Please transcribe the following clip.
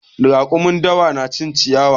Raƙumin dawa na cin ciyawa.